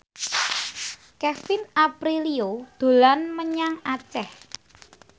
Kevin Aprilio dolan menyang Aceh